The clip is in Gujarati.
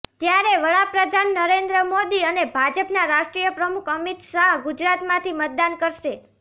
ત્યારે વડાપ્રધાન નરેન્દ્ર મોદી અને ભાજપનાં રાષ્ટ્રીય પ્રમુખ અમિત શાહ ગુજરાતમાંથી મતદાન કરશે